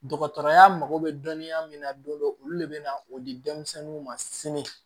Dɔgɔtɔrɔya mako bɛ dɔnniya min na don dɔ olu de bɛ na o di denmisɛnninw ma sini